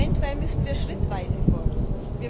Eventuell müssen wir schrittweise vorgehen.